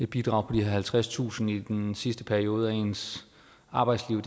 bidrag på de halvtredstusind kroner i den sidste periode af ens arbejdsliv